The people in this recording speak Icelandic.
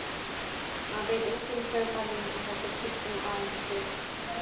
Það veit enginn hver færði þetta skilti aðeins til.